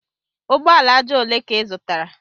Ugbo ala aja ole ka ị zụtara?